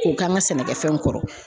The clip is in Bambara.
K'o k'an ka sɛnɛkɛfɛnw kɔrɔ